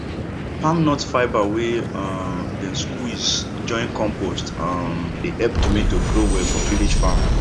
palm nut fibre wey um dem squeeze join compost um dey help tomato grow well for village farm